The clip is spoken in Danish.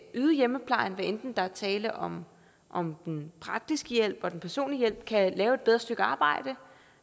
yde hjemmeplejen hvad enten der er tale om om den praktiske hjælp eller den personlige hjælp kan lave et bedre stykke arbejde